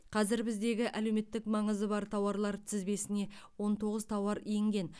қазір біздегі әлеуметтік маңызы бар тауарлар тізбесіне он тоғыз тауар енген